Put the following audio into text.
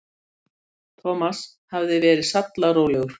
Amma kallar pabba Skalla-Grím þegar hún er í vondu skapi, en pabbi segir að